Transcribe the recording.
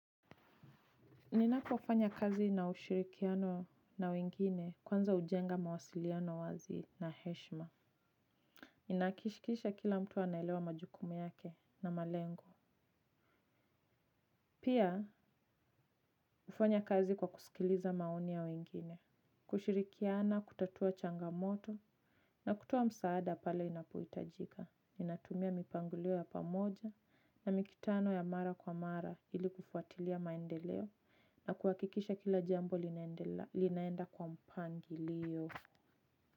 Ninapofanya kazi na ushirikiano na wengine kwanza hujenga mawasiliano wazi na heshima. Nahakikisha kila mtu anaelewa majukumu yake na malengo. Pia hufanya kazi kwa kusikiliza maoni ya wengine, kushirikiana, kutatua changamoto na kutoa msaada pale inapohitajika. Ninatumia mipangilio ya pamoja na mikutano ya mara kwa mara ili kufuatilia maendeleo na kuhakikisha kila jambo linaenda kwa mpangilio.